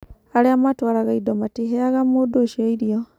Arĩa matwaraga indo matiheaga mũndũ ũcio irio.